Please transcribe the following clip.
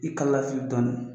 I kala lafili dɔɔni.